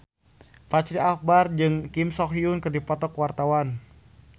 Fachri Albar jeung Kim So Hyun keur dipoto ku wartawan